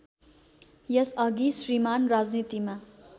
यसअघि श्रीमान् राजनीतिमा